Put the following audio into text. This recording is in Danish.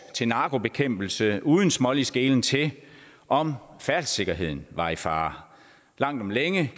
til narkobekæmpelse uden smålig skelen til om færdselssikkerheden var i fare langt om længe